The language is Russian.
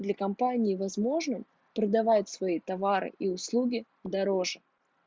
для компании возможно продавать свои товары и услуги дороже